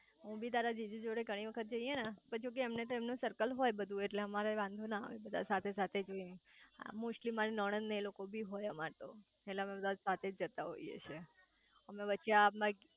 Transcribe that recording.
હું બી તારા જીજુ જોડે ગણી વખત જીયે ને પણ જો કે એમને તો એમનું સર્કલ હોય બધું એટલે અમરે વાંધો ના આવે બધા સાથે સાથે હોય મોસ્ટલી માર નણંદ ને એ લોકો બી હોય અમર તો અમે બધા સાથે જ જઇયે છે